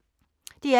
DR P3